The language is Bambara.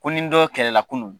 Ko n ni dɔ kɛlɛ la kunun.